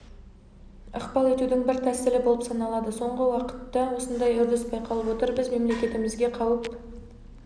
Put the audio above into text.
ықпал етудің бір тәсілі болып саналады соңғы уақытта осындай үрдіс байқалып отыр біз мемлекеттігімізге қауіп